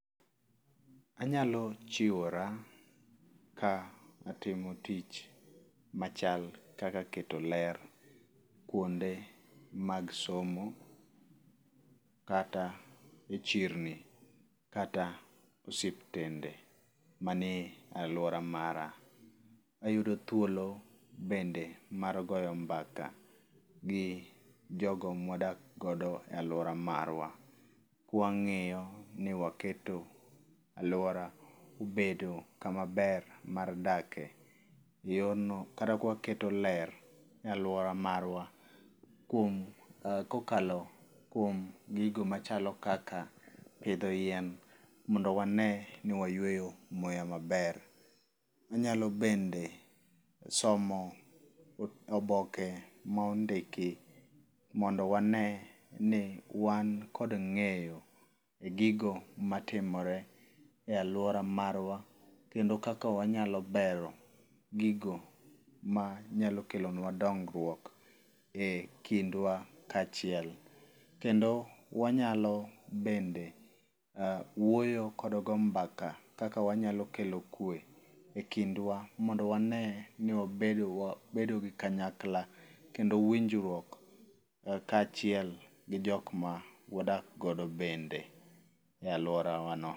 Anyalo chiwora ka atimo tich machal kaka keto ler kuonde mag somo, kata e chirni, kata osiptende manie alwora mara. Ayudo thuolo bende mar goyo mbaka gi jogo mwadak godo e alwora marwa, kwang'iyo ni waketo alwora obedo kama ber mar dake. Yor no kata kwaketo ler e alwora marwa kuom, kokalo kuom gigo machalo kaka pidho yien, mondo wane ni wayueyo muya maber. Wanyalo bende somo oboke mondiki mondo wane ni wan kod ng'eyo e gigo matimore e alwora marwa kendo kaka wanyalo bero gigo ma nyalo kelo nwa dongruok e kindwa kachiel. Kendo wanyalo bende wuoyo kod go mbaka kaka wanyalo kelo kwe ekindwa mondo wane ni wabedo gi kanyakla kendo winjruok kachiel gi jok ma wadak godo bende e alwora wa no.